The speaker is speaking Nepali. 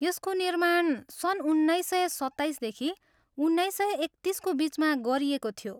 यसको निर्माण सन् उन्नाइस सय सत्ताइसदेखि उन्नाइस सय एकतिसको बिचमा गरिएको थियो।